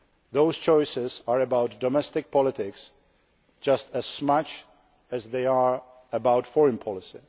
Those choices are about domestic politics just as much as they are about foreign policy.